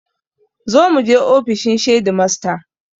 Zo muje ofishin shedimasta